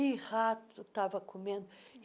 E rato estava comendo.